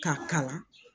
K'a kalan